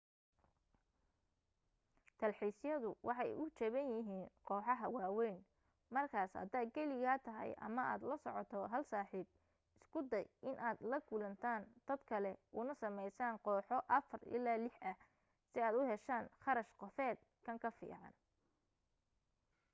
dalxiisyadu waxay u jaban yihiin kooxaha waawayn markaas haddaad keligaa tahay ama aad la soco hal saaxiib isku day inaad la kulantaan dad kale una samaysaan kooxo afar ilaa lix ah si aad u heshaan kharash qofeed kan ka fiican